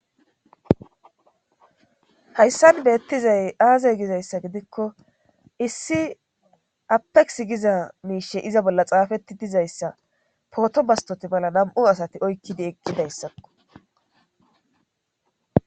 hayssan beettizay aazay gizayssa gidikko issi apeq giza miishe iza bolla xaafetti dizayssa pooto bastoti bolla nam7u asati oykkidi eqqidayssakko